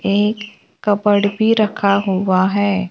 एक कपबर्ड भी रखा हुआ है।